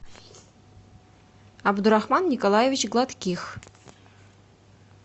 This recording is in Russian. абдурахман николаевич гладких